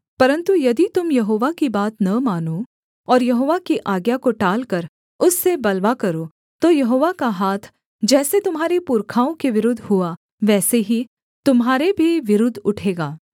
परन्तु यदि तुम यहोवा की बात न मानो और यहोवा की आज्ञा को टालकर उससे बलवा करो तो यहोवा का हाथ जैसे तुम्हारे पुरखाओं के विरुद्ध हुआ वैसे ही तुम्हारे भी विरुद्ध उठेगा